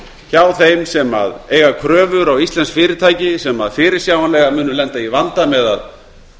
hjá þeim sem eiga kröfur á íslensk fyrirtæki sem fyrirsjáanlega munu lenda í vanda með að